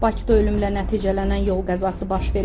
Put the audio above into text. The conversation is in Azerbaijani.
Bakıda ölümlə nəticələnən yol qəzası baş verib.